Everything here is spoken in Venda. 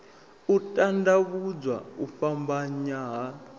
u tandavhuwa u fhambanya ha